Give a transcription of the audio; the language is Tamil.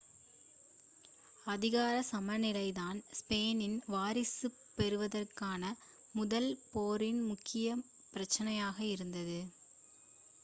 அதிகார சமநிலைதான் ஸ்பானிஷ் வாரிசுப் போருக்கான முதல் போரின் முக்கிய பிரச்சனையாக இருந்தது